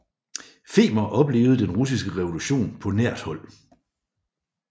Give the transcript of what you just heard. Fehmer oplevede den Russiske Revolution på nært hold